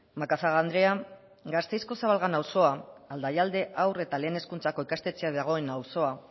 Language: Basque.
macazaga andrea gasteizko zabalgana auzoa aldaialde haur eta lehen hezkuntzako ikastetxea dagoen auzoa